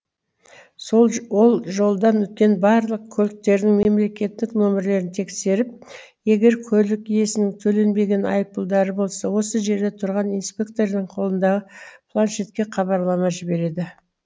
ол жолдан өткен барлық көліктердің мемлекеттік нөмірлерін тексеріп егер көлік иесінің төленбеген айыппұлдары болса осы жерде тұрған инспектордың қолындағы планшетке хабарлама жібереді